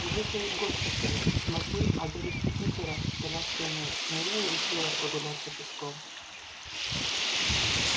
я вышла из госпиталя смотрю а дядюшки питера с коляской нет ну я и решила прогуляться пешком